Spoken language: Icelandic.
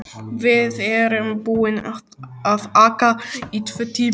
Við erum búin að aka í tvo tíma.